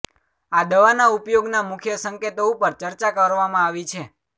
આ દવાના ઉપયોગના મુખ્ય સંકેતો ઉપર ચર્ચા કરવામાં આવી છે